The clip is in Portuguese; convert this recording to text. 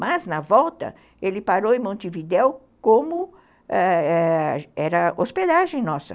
Mas, na volta, ele parou em Montevidéu como ãh ãh era hospedagem nossa.